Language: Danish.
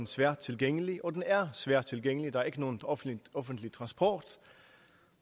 svært tilgængelig og den er svært tilgængelig der er ikke nogen offentlig offentlig transport